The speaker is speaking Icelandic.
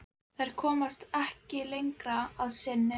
Þær komast ekki lengra að sinni.